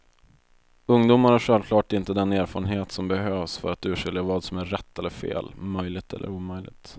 Ungdomar har självklart inte den erfarenhet som behövs för att urskilja vad som är rätt eller fel, möjligt eller omöjligt.